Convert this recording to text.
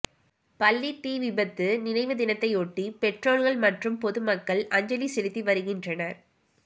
பள்ளி தீ விபத்து நினைவு தினத்தையொட்டி பெற்றோர்கள் மற்றும் பொதுமக்கள் அஞ்சலி செலுத்தி வருகின்றனர்